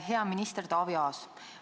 Hea minister Taavi Aas!